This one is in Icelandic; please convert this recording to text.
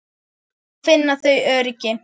Þá finna þau öryggi.